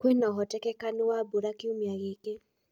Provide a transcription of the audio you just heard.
kwĩnaũhotekekũ wa mbũra kĩũmĩa gĩkĩ